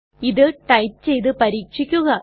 ഇത് ടൈപ്പ് ചെയ്തു പരീക്ഷിക്കുക